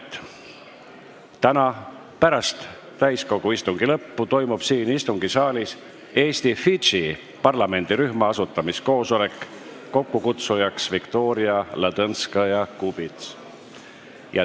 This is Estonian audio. Esiteks, täna pärast täiskogu istungi lõppu toimub siin istungisaalis Eesti-Fidži parlamendirühma asutamiskoosolek, mille kokkukutsuja on Viktoria Ladõnskaja-Kubits.